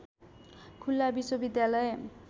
खुल्ला विश्वविद्यालय